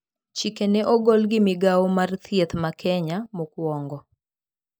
Chike ne ogol gi migao mar thieth ma Kenya, mokwongo